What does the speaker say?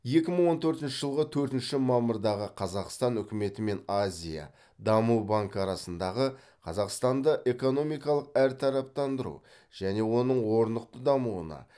екі мың он төртінші жылғы төртінші мамырдағы қазақстан үкіметі мен азия даму банкі арасындағы қазақстанды экономикалық әртараптандыру және оның орнықты дамуына